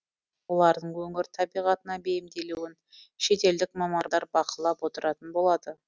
олардың өңір табиғатына бейімделуін шетелдік мамандар бақылап отыратын болады